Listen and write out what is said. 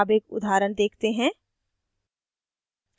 अब एक उदाहरण देखते हैं